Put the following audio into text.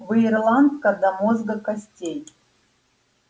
вы ирландка до мозга костей